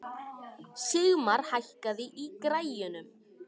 Sigmar, hækkaðu í græjunum.